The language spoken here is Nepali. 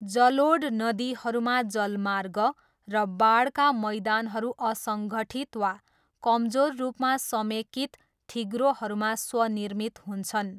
जलोढ नदीहरूमा जलमार्ग र बाढका मैदानहरू असङ्घठित वा कमजोर रूपमा समेकित थिग्रोहरूमा स्वनिर्मित हुन्छन्।